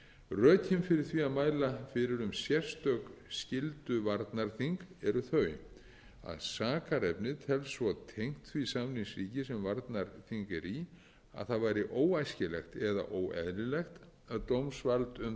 rökin fyrir því að mæla fyrir um sérstök skylduvarnarþing eru þau að sakarefnið telst svo tengt því samningsríki sem varnarþing er í að það væri óæskilegt eða óeðlilegt að dómsvald um það væri í öðru